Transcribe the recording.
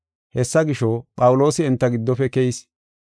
Hessa gisho, Phawuloosi enta giddofe keyis.